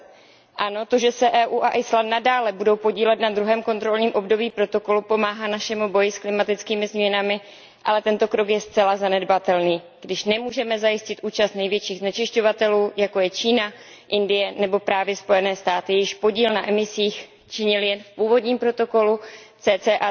2020. Ano, to, že se EU a Island nadále budou podílet na druhém kontrolním období protokolu, pomáhá našemu boji s klimatickými změnami, ale tento krok je zcela zanedbatelný, když nemůžeme zajistit účast největších znečišťovatelů, jako jsou Čína, Indie nebo právě Spojené státy, jejichž podíl na emisích činil jen v původním protokolu cca